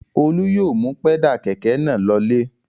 Olú yóò mú pẹ́dà kẹ̀kẹ́ náà lọlé.